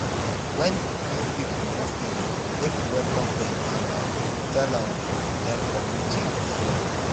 when new people move in make we welcome dem and um tell um dem community rules